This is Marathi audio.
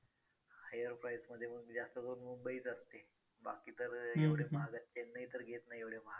higher price मध्ये जास्त करून मुंबईच असते बाकी तर एवढे महागात चेन्नई तर घेत नाही महाग